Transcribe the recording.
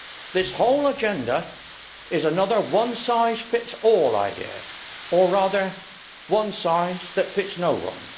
This whole agenda is another one size fits all idea, or rather, one size that fits no one.